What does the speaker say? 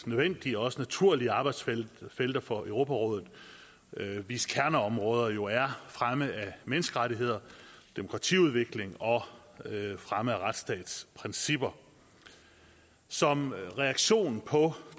nødvendige og også naturlige arbejdsfelter for europarådet hvis kerneområder jo er fremme af menneskerettigheder demokratiudvikling og fremme af retsstatsprincipper som reaktion på